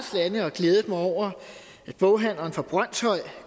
har glædet mig over at boghandleren fra brønshøj